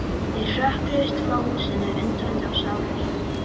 Þeir hrökkluðust frá húsinu, undrandi og sárir.